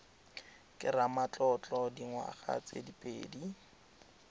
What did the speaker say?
ke ramatlotlo dingwaga tse pedi